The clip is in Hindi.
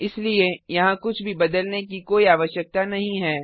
इसलिए यहाँ कुछ भी बदलने की कोई आवश्यकता नहीं है